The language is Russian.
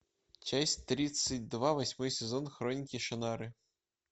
часть тридцать два восьмой сезон хроники шаннары